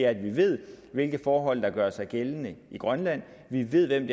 at vi ved hvilke forhold der gør sig gældende i grønland vi ved hvem